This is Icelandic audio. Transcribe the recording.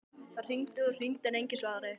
Það hringdi og hringdi en enginn svaraði.